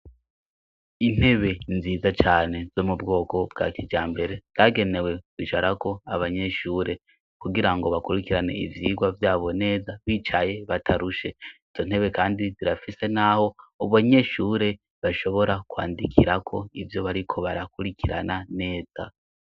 Intebe nziza cane zo mubwoko bwa kijambere. Zagenewe kwicarako abanyeshure kugira ngo bakurikirane ivyigwa vyabo neza bicaye, batarushe. Izo ntebe kandi zirafise n'aho abanyeshure bashobora kwandikirako ivyo bariko barakurikirana neza.